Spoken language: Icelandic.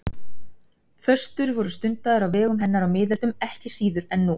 föstur voru stundaðar á vegum hennar á miðöldum ekki síður en nú